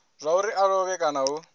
zwauri a lovhe kana hu